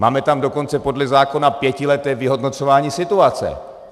Máme tam dokonce podle zákona pětileté vyhodnocování situace.